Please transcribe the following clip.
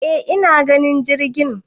e ina ganin jirgin